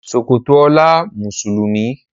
Ṣòkòtò ola Mùsùlùmí.